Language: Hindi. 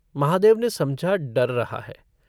महादेव ने समझा डर रहा है।